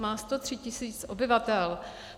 Má 103 000 obyvatel.